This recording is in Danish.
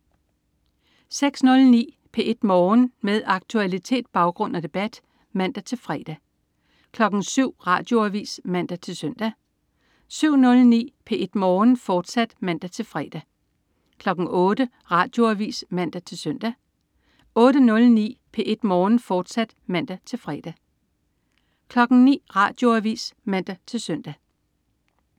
06.09 P1 Morgen. Med aktualitet, baggrund og debat (man-fre) 07.00 Radioavis (man-søn) 07.09 P1 Morgen, fortsat (man-fre) 08.00 Radioavis (man-søn) 08.09 P1 Morgen, fortsat (man-fre) 09.00 Radioavis (man-søn)